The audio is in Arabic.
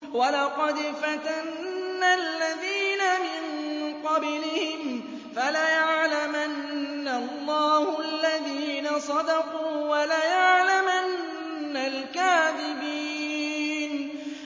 وَلَقَدْ فَتَنَّا الَّذِينَ مِن قَبْلِهِمْ ۖ فَلَيَعْلَمَنَّ اللَّهُ الَّذِينَ صَدَقُوا وَلَيَعْلَمَنَّ الْكَاذِبِينَ